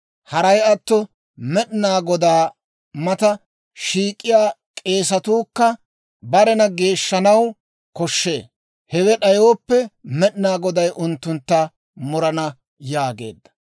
Haray atto Med'inaa Godaa mata shiik'iyaa k'eesatuukka barena geeshshanaw koshshee; hewe d'ayooppe, Med'inaa Goday unttuntta murana» yaageedda.